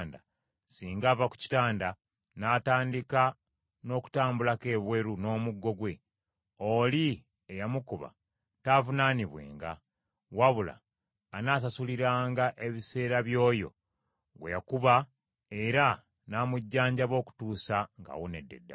singa ava ku kitanda, n’atandika n’okutambulako ebweru n’omuggo gwe, oli eyamukuba taavunaanibwenga; wabula anaasasuliranga ebiseera by’oyo gwe yakuba, era n’amujjanjaba okutuusa ng’awonedde ddala.